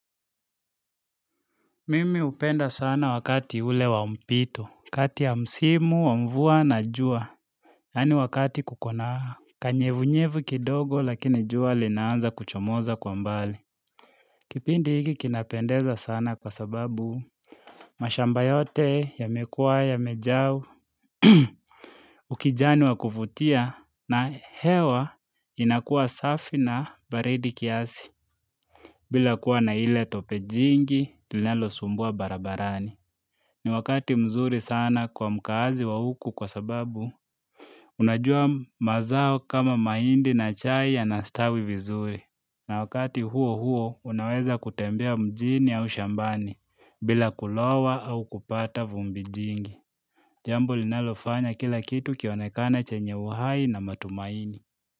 Mimi hupenda sana wakati ule wa mpito, kati ya msimu, wa mvua na jua, yaani wakati kuko na, kanyevunyevu kidogo lakini jua linaanza kuchomoza kwa mbali. Kipindi hiki kinapendeza sana kwa sababu, mashamba yote yamekua yamejaa ukijani wa kuvutia na hewa inakua safi na baridi kiasi. Bila kuwa na ile tope jingi, linalo sumbua barabarani. Ni wakati mzuri sana kwa mkaazi wa huku kwa sababu, unajua mazao kama mahindi na chai yanastawi vizuri. Na wakati huo huo, unaweza kutembea mjini au shambani, bila kulowa au kupata vumbi jingi. Jambo linalofanya kila kitu kionekane chenye uhai na matumaini.